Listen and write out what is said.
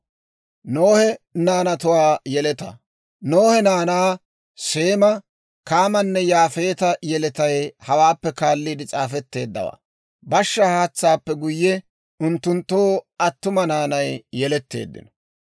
Nohe naanaa, Seema, Kaamanne Yaafeeta yeletay hawaappe kaalliide s'aafetteeddawaa; bashshaa haatsaappe guyye, unttunttoo attuma naanay yeletteeddino.